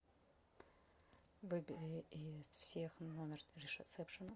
выбери из всех номер ресепшена